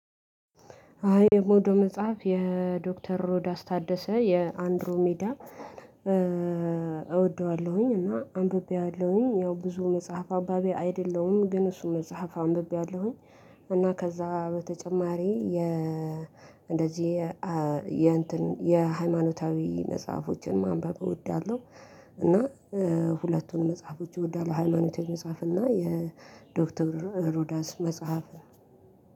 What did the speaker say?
እኔ እምወደው መጽሐፍ የዶክተር ሮዳስ ታደሰ የአንድሮ ሜዳ። እወደዋለሁኝ እና አንብቤያለሁኝ ያው ብዙ መጽሐፍ አባቢ አይደለሁም ግን እሱ መጽሐፍ አንብቤያለሁኝ። እና ከዛ በተጨማሪ የ እንደዚህ የ የሃይማኖታዊ መጽሐፎችን ማንበብ እወዳለሁ። እና ሁለቱን መጽሐፎች እወዳለሁ ሃይማኖታዊ የመጽሐፍ እና የዶክተር ሮዳስ መጽሐፍ።